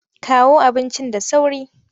Kawo abincin da sauri!